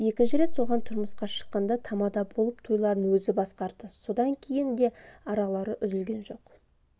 екінші рет соған тұрмысқа шыққанда тамада болып тойларын өзі басқарды содан кейін де аралары үзілген жоқ